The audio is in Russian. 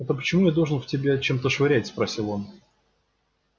это почему я должен в тебя чем-то швырять спросил он